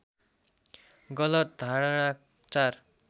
गलत धारणा ४